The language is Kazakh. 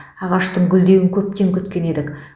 ағаштың гүлдеуін көптен күткен едік